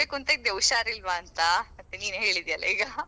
ಅದೇ ನಂದು ಕೂಡ voice ಎಲ್ಲಾ change ಆಗಿದೆ ಈಗ.